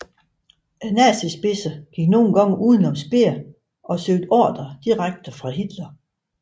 Nazispidser gik nogle gange uden om Speer og søgte ordrer direkte fra Hitler